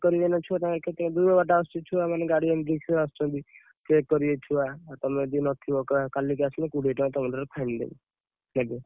କରିବେ ନା ଛୁଆ ତାଙ୍କର କେତେ ଦୂର ବାଟରୁ ଆସୁଛନ୍ତି ଛୁଆ ମାନେ ଗାଡି ଆଣିକି ଆସୁଛନ୍ତି check କରିବେ ଛୁଆ, ତମେ ଯଦି ନଥିବ କାଲିକି ଆସିଲେ କୋଡିଏ ଟଙ୍କା ତମ ଠାରୁ fine ନେବେ ନେବେ।